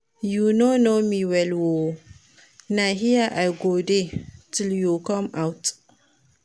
You no know me well oo, na here I go dey till you come out